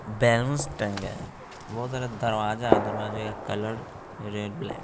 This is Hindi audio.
बलूंस टंगे हैं बहोत सारा दरवाजा दरवाजे का कलर रेड ब्लैक --